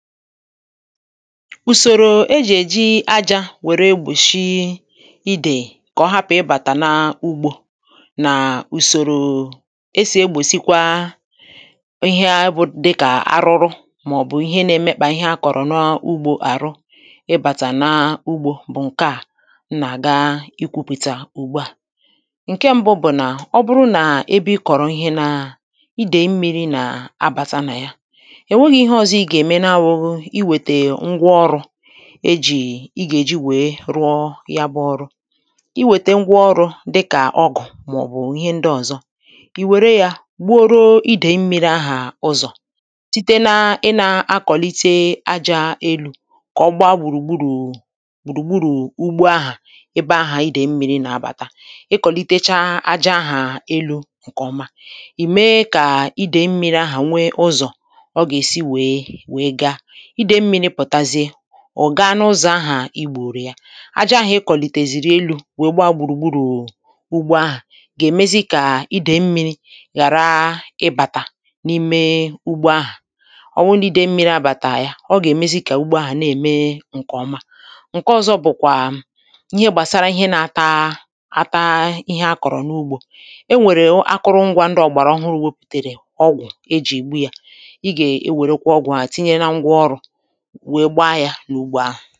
Ùsòrò ejì èji ajā wère egbòshi idè kà ọ hapù ịbàtà na ugbō nà ùsòrò esì egbòsịkwa iha bụ dịkà arụru màọ̀bụ̀ ihe na-emekpà ihe akọ̀rọ̀ na ugbō àrụ ịbàtà na ugbō ǹke à m nà-àga ikwūpìtà ùgbu à ǹke m̀bụ bụ̀ nà ọ bụrụ na ebe ị kọ̀rọ̀ ihe nà idè mmīrī nà abàta nà ya è nweghị̄ ihe ọ̀zọ ị gà-ème na awụ̄ghụ iwètè ngwa ọrụ̄ e jì ị gà-èji wee rụọ yabụ̄ ọrụ ị wètè ngwa ọrụ̄ dịkà ọgụ̣̀ màọ̀bụ̀ ihe ndị ọ̀zọ ị wère yā gbuoro idè mmīri ahà ụzọ̀ site na ịnā akọ̀lite ajā elū kà ọ gba gbùrùgburù gbùrùgburù ugbo ahà ebe ahà idè mmīrī nà-abàta ị kọ̀litecha aja ahà elū ǹkè ọma ị̀ me kà idè mmīrī ahà nwe ụzọ̀ ọ gà-èsi wee wee ga idè mmīni pụ̀tazie ọ̀ ga n’ụzọ̀ ahà ị gbùùrù ya aja ahà ị kọ̀lìtèzìrì elū wee gba gbùrùgburù ugbo ahà gà-èmezi kà idè mmīrī ghàra ịbàtà n’ime ugbō ahà ọ wụ nà ìde mmīri abàtà ya ọ gà-èmezi kà ugbo ahà na-ème ǹkè ọma ǹke ọ̀zọ bụ̀kwà ihe gbasàra ihe na-ata ata ihe akọ̀rọ̀ n’ugbō e nwèrè akụrụngwā ndị ọ̀gbàrà ọhụrū wepụ̀tèrè ọgwụ̀ ejì ègbu yā ị gà-ewèrekwa ọgwụ̀ ahà tinye na ngwaọrụ̄ wee gba yā n’ugbo ahà